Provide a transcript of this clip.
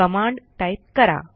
command type करा